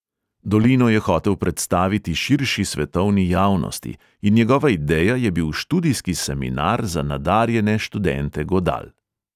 Dolino je hotel predstaviti širši svetovni javnosti in njegova ideja je bil študijski seminar za nadarjene študente godal.